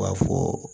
U b'a fɔ